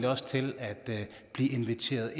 også til at blive inviteret